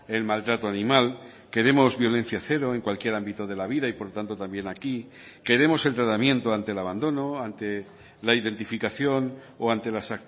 el maltrato animal queremos violencia cero en cualquier ámbito de la vida y por lo tanto también aquí queremos el tratamiento ante el abandono ante la identificación o ante las